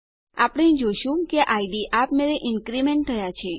આપણે જોઈ શકીએ છીએ કે ઇડ આપમેળે ઇન્ક્રીમેન્ટ થયા છે